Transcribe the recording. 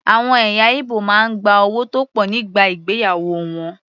Àwọn ẹ̀yà Ìgbò máa ń gba owó tó pọ̀ nígbà ìgbéyàwó wọn.